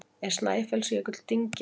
Er Snæfellsjökull dyngja?